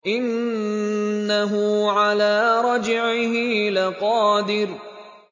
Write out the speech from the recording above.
إِنَّهُ عَلَىٰ رَجْعِهِ لَقَادِرٌ